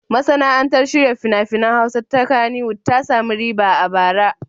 Masana'antar shirya fina-finan Hausa ta Kannywwod ta sami riba a bara.